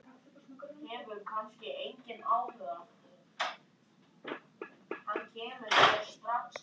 Met þetta mun enn standa.